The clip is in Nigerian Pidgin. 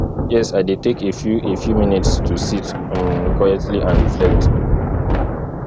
yes i dey take a few a few minutes to sit um quietly and reflect